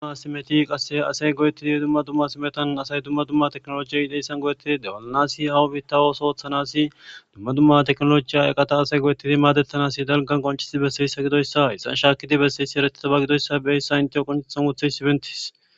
Duma simeti qasse asay go'ettidi dumma dumma simetan asay dumma dumma teknolojiya ideyssan go'ettidi dewalanasi hawu bittawos ooththanasidumma dumma teknolojiya eqata asay go'ettidi maadettanas dalgan qonchisi besseyssa gidoyssa hisan shaakidi besseyssi eretetaba gidoyssa beyssa inteyo qonethan uthey sibentis.